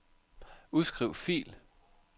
Udskriv fil.